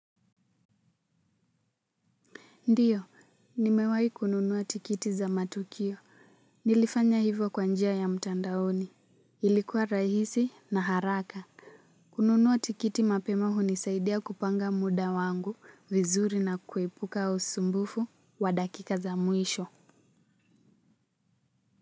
Ndiyo nimewai kununua tikiti za matukio nilifanya hivyo kwanjia ya mtandaoni ilikuwa rahisi na haraka kununua tikiti mapema hunisaidia kupanga muda wangu vizuri na kuepuka usumbufu wa dakika za muisho.